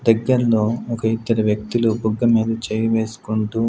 దగ్గరలో ఒక ఇద్దరు వ్యక్తులు బుగ్గ మీద చేయి వేసుకుంటూ.